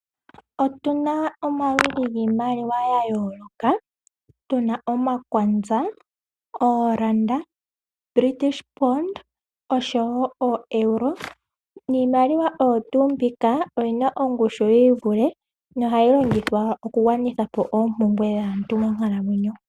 Otuna omaludhi giimaliwa yayooloka tuna omakwanza, ooranda oshowo oEuro niimaliwa oyo tuu mbika oyina ongushu yiivule no ohayi longithwa okugwanithapo oompumbwe dhaantu monkalamwenyo.